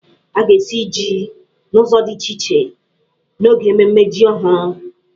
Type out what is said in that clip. A ga-esi jí n'ụzọ di iche iche n'oge mmemme jí ọhụrụ.